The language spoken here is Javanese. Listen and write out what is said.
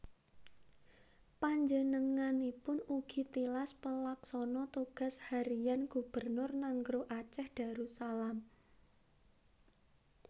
Panjenenganipun ugi tilas Pelaksana Tugas Harian Gubernur Nanggroe Aceh Darussalam